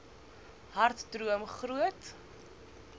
hard droom groot